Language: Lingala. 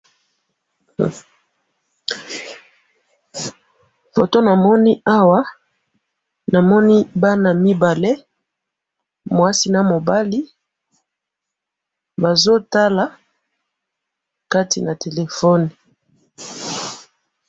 Foto namoni awa, namoni bana mibale, mwasi namobali, bazotala Kati na telephone.